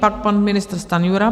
Pak pan ministr Stanjura.